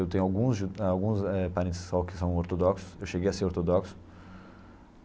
Eu tenho alguns ju alguns é parentes só que são ortodoxos, eu cheguei a ser ortodoxo.